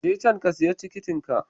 Je can ka siya tikitin ka.